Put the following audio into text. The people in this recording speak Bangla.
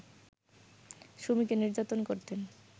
সুমিকে নির্যাতন করতেন